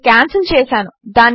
నేను క్యాన్సిల్ చేసాను